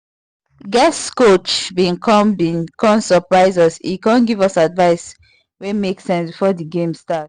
guest coach been come been come surprise us e come give us advice wey make sense before the game start